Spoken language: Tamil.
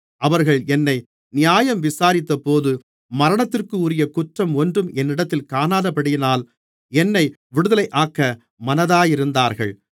அவர்கள் என்னை நியாயம் விசாரித்தபோது மரணத்திற்குரிய குற்றம் ஒன்றும் என்னிடத்தில் காணாதபடியினால் என்னை விடுதலையாக்க மனதாயிருந்தார்கள்